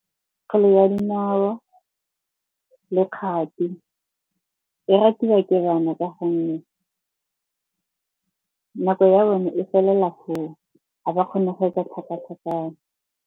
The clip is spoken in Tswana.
Kgwele ya dinao le kgati e ratiwa ke bana ka gonne nako ya bone e felela foo ga ba kgone go etsa tlhakatlhakano.